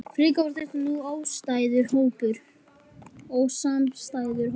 Frekar var þetta nú ósamstæður hópur.